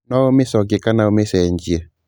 No ũmĩcokie kana ũmĩcenjie